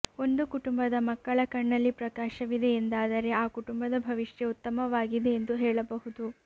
ಒಂದು ಕುಟುಂಬದ ಮಕ್ಕಳ ಕಣ್ಣಲ್ಲಿ ಪ್ರಕಾಶವಿದೆ ಎಂದಾದರೆ ಆ ಕುಟುಂಬದ ಭವಿಷ್ಯ ಉತ್ತಮವಾಗಿದೆ ಎಂದು ಹೇಳಬಹುದು